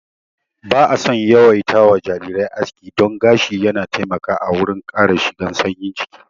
Ba'a son yawaita wa jarirai aski don gashi yana taimakawa a wurin kare shigan sanyi jiki